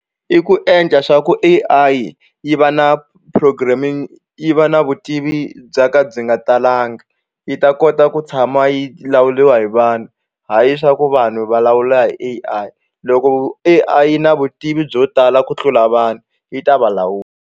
I ku endla swa ku A_ I yi va na programming yi va na vutivi bya ka byi nga talanga yi ta kota ku tshama yi lawuriwa hi vanhu hayi swa ku vanhu va lawula hi A_I loko A_I na vutivi byo tala ku tlula vanhu yi ta va lawula.